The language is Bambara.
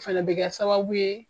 Fana bɛ kɛ sababu ye